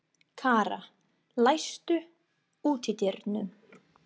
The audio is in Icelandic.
Kara, læstu útidyrunum.